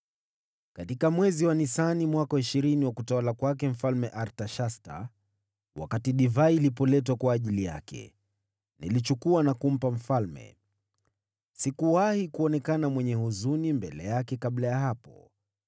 Katika mwezi wa Nisani mwaka wa ishirini wa utawala wa Mfalme Artashasta, wakati divai ilipoletwa kwake, niliichukua na kumpa mfalme. Sikuwahi kuonekana mwenye huzuni mbele yake kabla ya hapo.